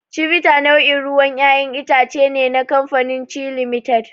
Chivita nau'in ruwan ƴaƴan itace ne na kamafanin Chi Limited.